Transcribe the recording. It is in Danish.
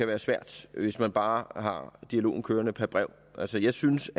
være svært hvis man bare har dialogen kørende per brev altså jeg synes